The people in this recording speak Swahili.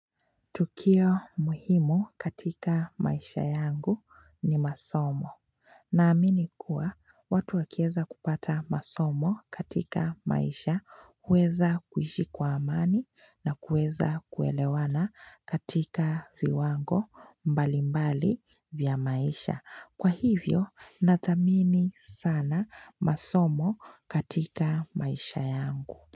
Tukio muhimu katika maisha yangu ni masomo. Na amini kuwa watu wakieza kupata masomo katika maisha uweza kuishi kwa amani na uweza kuelewana katika viwango mbali mbali vya maisha. Kwa hivyo natamini sana masomo katika maisha yangu.